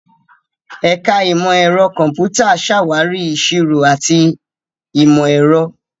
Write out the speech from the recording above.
Ẹ̀ka Ìmọ̀ Ẹ̀rọ Kọ̀m̀pútà ṣàwárí ìṣirò àti ìmọ̀ ẹ̀rọ.